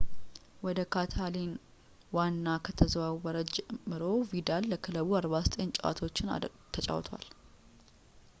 ወደ ካታላን ዋና ከተዘዋወረ ጀምሮ ቪዳል ለክለቡ 49 ጨዋታዎችን ተጫውቷል